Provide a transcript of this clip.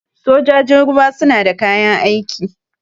Sojajin ruwa suna da kayan aiki.